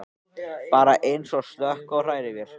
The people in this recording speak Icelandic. Bara eins og að slökkva á hrærivél.